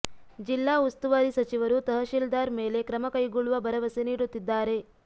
ಜಿಲ್ಲಾ ಉಸ್ತುವಾರಿ ಸಚಿವರು ತಹಶೀಲ್ದಾರ್ ಮೇಲೆ ಕ್ರಮ ಕೈಗೊಳ್ಳುವ ಭರವಸೆ ನೀಡುತ್ತಿದ್ದಾರೆ